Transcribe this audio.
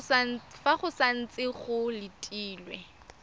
fa go santse go letilwe